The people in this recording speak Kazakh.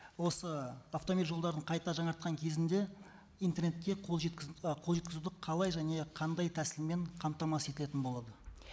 осы автомобиль жолдарын қайта жаңартқан кезінде интернетке і қол жеткізуді қалай және қандай тәсілмен қамтамасыз етілетін болады